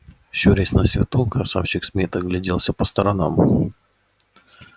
щурясь на свету красавчик смит огляделся по сторонам